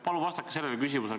Palun vastake sellele küsimusele.